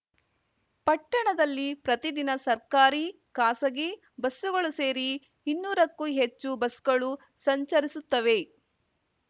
ಪಟ್ಟಣದಲ್ಲಿ ಪ್ರತಿದಿನ ಸರ್ಕಾರಿ ಖಾಸಗಿ ಬಸ್‌ಗಳು ಸೇರಿ ಇನ್ನೂರಕ್ಕೂ ಹೆಚ್ಚು ಬಸ್‌ಗಳು ಸಂಚರಿಸುತ್ತವೆ